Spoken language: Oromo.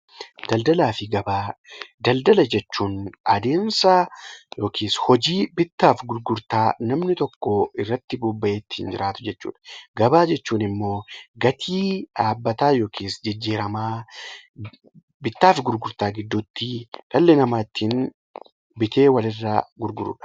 Daldala jechuun adeemsa yookiin hojii bittaa fi gurgurtaa namni tokko irratti bobba'ee ittiin jiraatu jechuudha. Gabaa jechuun immoo bakkatti gatii dhaabbataa yookiin jijjiiramaa bittaa fi gurgurtaa gidduutti dhalli namaa ittiin bitee wal irraa gurgurudha.